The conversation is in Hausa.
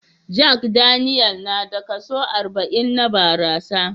Jack Daniel na da kaso arba'in na barasa